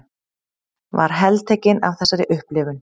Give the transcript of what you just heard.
Var heltekin af þessari upplifun.